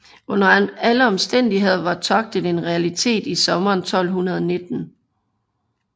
Under alle omstændigheder var togtet en realitet i sommeren 1219